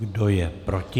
Kdo je proti?